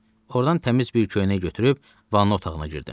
Ordan təmiz bir köynək götürüb vanna otağına girdim.